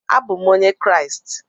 Abụ m onye Kraịst